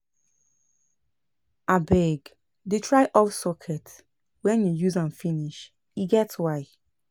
Abeg, dey try off socket wen you use am finish, e get why.